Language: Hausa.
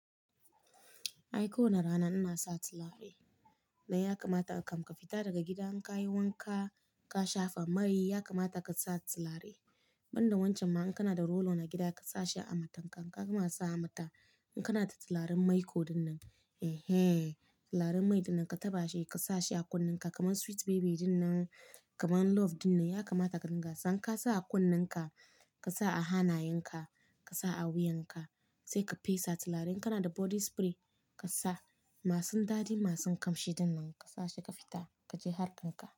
Ai ko wana rana ina sa turare, dai ya kamata in kam ka fita daga gida in ka yi wanka, ka shafa mai ya kamata ka sa turare. Banda wancan ma in kana da rolo na gida ka sa shi a matanka, in ka gama sa a mata in kana da turaren mai ko duk nan, eh eh turaren mai dinnan ka taɓa shi ka sa shi a kunnenka kamar sweet baby dinnan, kamar love dinnan ya kamata ka dinga san ka sa a kunnenka, ka sa a hanayenka, ka sa a wuyanka sai ka fesa turaren. Kana da body spray ka sa, masu dadi masu ƙamshi dinnan ka sa shi ka fita ka je harkan ka.